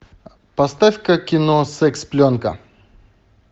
поставь ка кино секс пленка